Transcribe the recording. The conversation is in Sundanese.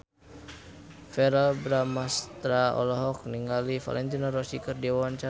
Verrell Bramastra olohok ningali Valentino Rossi keur diwawancara